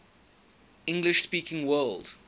english speaking world